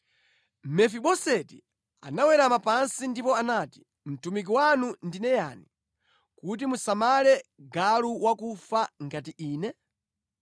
Mefiboseti anawerama pansi ndipo anati, “Mtumiki wanu ndine yani kuti musamale galu wakufa ngati ine?”